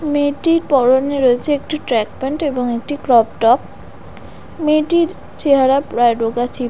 মেয়েটির পরনে রয়েছে একটি ট্র্যাক প্যান্ট ও একটি ক্রপ টপ মেয়েটির চেহারা প্রায় রোগা ছিপ--